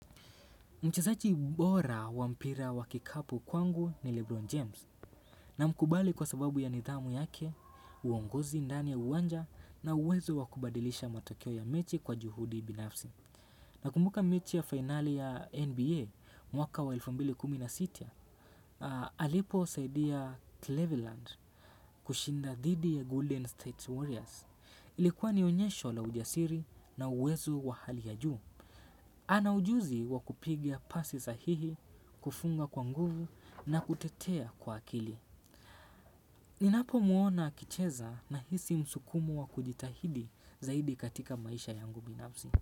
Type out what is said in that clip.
Mchezaji bora wa mpira wa kikapu kwangu ni Lebron James namkubali kwa sababu ya nidhamu yake, uongozi ndani ya uwanja na uwezo wa kubadilisha matokeo ya mechi kwa juhudi binafsi. Nakumbuka mechi ya fainali ya NBA mwaka wa elfu mbili na kumi na sita aa, aliposaidia Cleveland kushinda dhidi ya Golden State Warriors. Ilikuwa ni onyesho la ujasiri na uwezo wa hali ya juu. Ana ujuzi wa kupiga pasi sahihi, kufunga kwa nguvu na kutetea kwa akili. Ninapomwona akicheza nahisi msukumo wa kujitahidi zaidi katika maisha yangu binafsi.